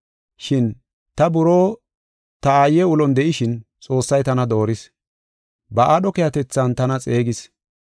Shin ta buroo ta aaye ulon de7ishin Xoossay tana dooris; ba aadho keehatethan tana xeegis.